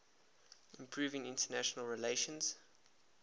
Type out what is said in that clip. improving international relations